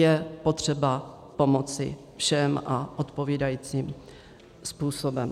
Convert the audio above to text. Je potřeba pomoci všem, a odpovídajícím způsobem.